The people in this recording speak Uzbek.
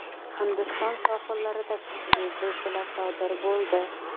Hindiston sohillarida kuchli zilzila sodir bo‘ldi.